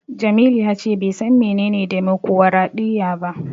Jamilu ya ce bai san menene demokwaraɗiyya ba.